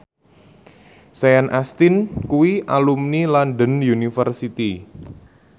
Sean Astin kuwi alumni London University